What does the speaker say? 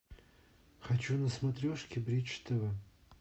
хочу на смотрешке бридж тв